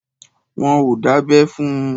Wọn ò dábẹ́ fún un.